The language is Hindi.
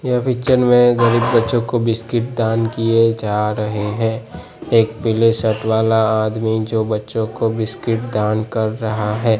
यह पिक्चर में गरीब बच्चों को बिस्किट दान किये जा रहे हैं एक पीले शर्ट वाला आदमी जो बच्चों को बिस्किट दान कर रहा है।